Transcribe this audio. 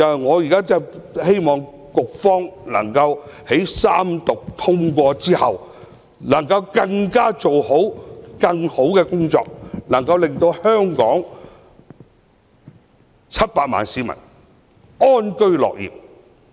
我希望局方在三讀通過《條例草案》後，工作能夠做得更好，令香港700萬市民安居樂業。